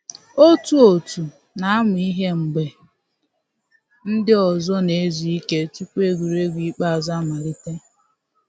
Otu òtù na-amụ ihe mgbe ndị ọzọ na-ezu ike tupu egwuregwu ikpeazụ amalite